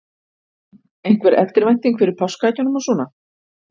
Elín: Einhver eftirvænting fyrir páskaeggjunum og svona?